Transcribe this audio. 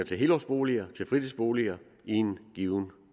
helårsboliger til fritidsboliger i en given